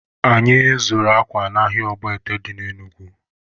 Anyị zụrụ akwa n'ahịa Ọgbọete dị na Enugu